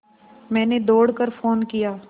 मैंने दौड़ कर फ़ोन किया